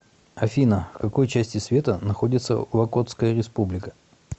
афина в какой части света находится локотская республика